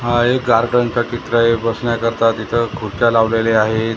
हा एक गार्डनचा चित्र आहे बसण्याकरता तिथं खुर्च्या लावलेल्या आहेत.